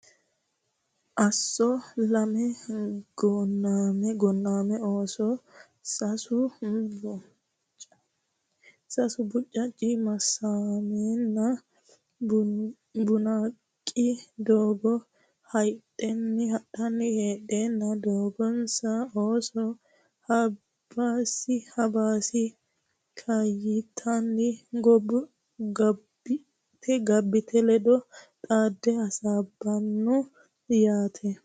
Asso Lame Gonnami ooso sasu: Buchaachi, Maassamenna Bunnaaqi doogo yaaddanni hadhanni; Doogiso ooso: Hobbaasi Kaayyitenna Gabbiite ledo xaadde hasaabbanno ayeti?